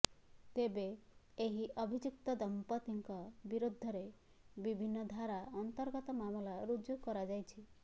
ତେବେ ଏହି ଅଭିଯୁକ୍ତ ଦମ୍ପତିଙ୍କ ବିରୋଧରେ ବିଭିନ୍ନ ଧାରା ଅର୍ନ୍ତଗତ ମାମଲା ରୁଜୁ କରାଯାଇଛି